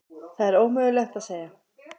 Það er ómögulegt að segja.